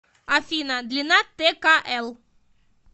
афина длина ткл